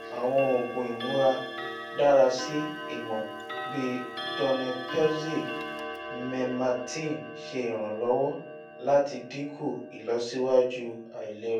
awọn oogun imudarasi imọ bii donepezil memantin ṣe iranlọwọ lati dinku ilọsiwaju ailera